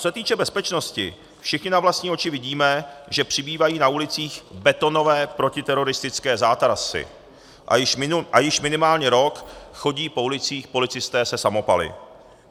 Co se týče bezpečnosti, všichni na vlastní oči vidíme, že přibývají na ulicích betonové protiteroristické zátarasy, a již minimálně rok chodí po ulicích policisté se samopaly.